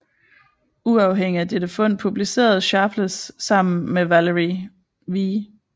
Uafhængigt af dette fund publicerede Sharpless sammen med Valery V